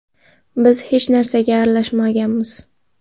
Biz hech narsaga aralashmaganmiz.